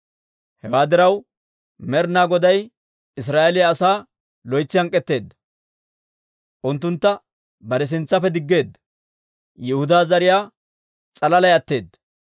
Hewaa diraw, Med'ina Goday Israa'eeliyaa asaa loytsi hank'k'etteedda; unttuntta bare sintsaappe diggeedda. Yihudaa zariyaa s'alalay atteedda.